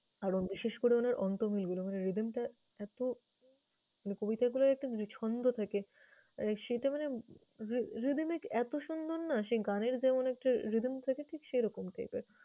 আরও বিশেষ করে উনার অন্ত্যমিলগুলোর মানে rhythm টা এতো মানে কবিতাগুলোর একটা ছন্দ থাকে। সেটা মানে rhythmic এতো সুন্দর না, সে গানের যেমন একটা rhythm থাকে ঠিক সেরকম type এর।